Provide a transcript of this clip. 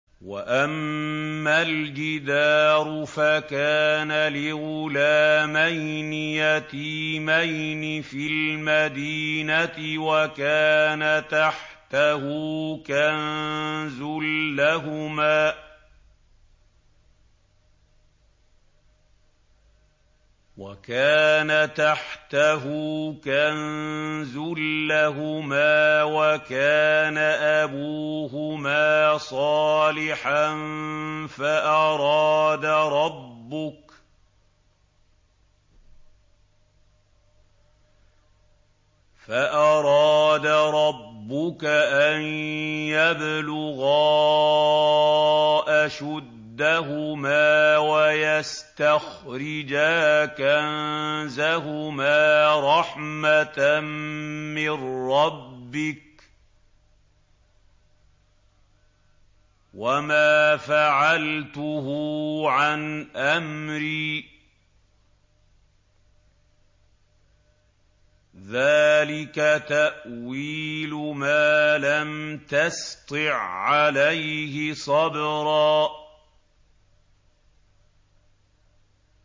وَأَمَّا الْجِدَارُ فَكَانَ لِغُلَامَيْنِ يَتِيمَيْنِ فِي الْمَدِينَةِ وَكَانَ تَحْتَهُ كَنزٌ لَّهُمَا وَكَانَ أَبُوهُمَا صَالِحًا فَأَرَادَ رَبُّكَ أَن يَبْلُغَا أَشُدَّهُمَا وَيَسْتَخْرِجَا كَنزَهُمَا رَحْمَةً مِّن رَّبِّكَ ۚ وَمَا فَعَلْتُهُ عَنْ أَمْرِي ۚ ذَٰلِكَ تَأْوِيلُ مَا لَمْ تَسْطِع عَّلَيْهِ صَبْرًا